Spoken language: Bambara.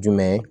Jumɛn